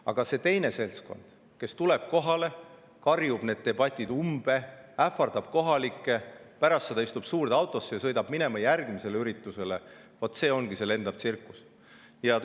Aga see teine seltskond, kes tuleb kohale, karjub debati umbe, ähvardab kohalikke, pärast seda istub suurde autosse ja sõidab järgmisele üritusele – vaat see ongi see lendav tsirkus.